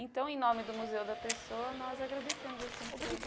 Então, em nome do Museu da Pessoa, nós agradecemos a Senhora. Obrigada